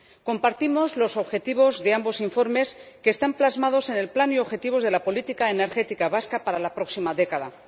Compartimos los objetivos de ambos informes, que están plasmados en el Plan y los objetivos de la política energética vasca para la próxima década.